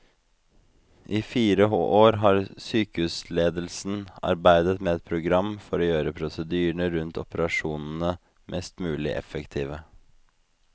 I fire år har sykehusledelsen arbeidet med et program for å gjøre prosedyrene rundt operasjonene mest mulig effektive.